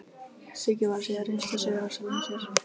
Siggi var að segja reynslusögur af sjálfum sér.